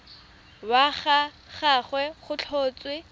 wa ga gagwe go tlhotswe